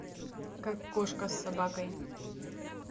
как кошка с собакой